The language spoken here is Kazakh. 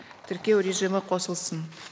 тіркеу режимі қосылсын